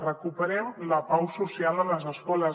recuperem la pau social a les escoles